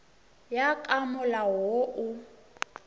ya ka molao wo o